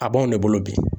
A b'anw de bolo bi